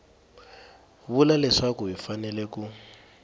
vula leswaku hi fanele ku